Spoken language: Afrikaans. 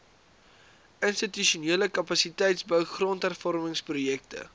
institusionele kapasiteitsbou grondhervormingsprojekte